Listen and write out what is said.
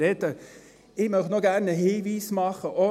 Ich möchte gerne noch einen Hinweis machen: